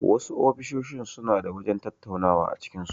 Wasu ofisoshin suna da wajen tattaunawa a cikin su.